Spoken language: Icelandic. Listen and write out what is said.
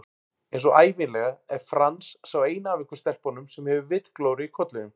Einsog ævinlega er Franz sá eini af ykkur stelpunum sem hefur vitglóru í kollinum